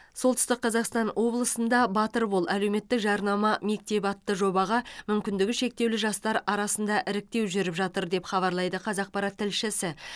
солтүстік қазақстан облысында батыр бол әлеуметтік жарнама мектебі атты жобаға мүмкіндігі шектеулі жастар арасында іріктеу жүріп жатыр деп хабарлайды қазақпарат тілшісі